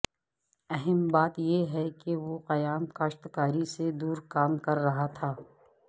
اہم بات یہ ہے کہ وہ قیام کاشتکاری سے دور کام کر رہا تھا